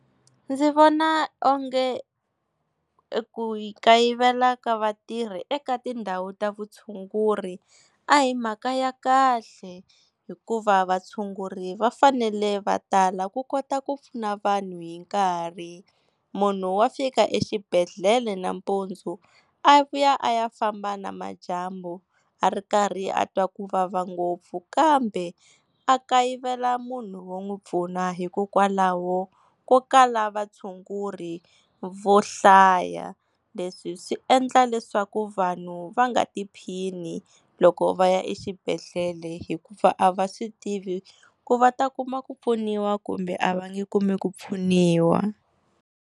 Ndzi vona onge ku kayivela ka vatirhi eka tindhawu ta vutshunguri a hi mhaka ya kahle hikuva vatshunguri va fanele va tala ku kota ku pfuna vanhu hi nkarhi. Munhu wa fika exibedhlele nampundzu a vuya a ya famba namadyambu a ri karhi a twa ku vava ngopfu, kambe a kayivela munhu wo n'wi pfuna hikokwalaho ko kala vatshunguri vo hlaya. Leswi swi endla leswaku vanhu va nga tiphini loko va ya exibedhlele hikuva a va swi tivi ku va ta kuma ku pfuniwa kumbe a va nge kumi ku pfuniwa.